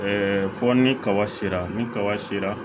fɔ ni kaba sera ni kaba sera